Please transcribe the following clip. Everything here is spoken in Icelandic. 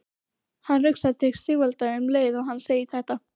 Hann hugsaði til Sigvalda um leið og hann sagði þetta.